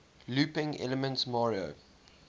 looping elements mario